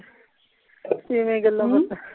ਕਿਵੇਂ ਗੱਲਾਂ ਬਾਤਾਂ?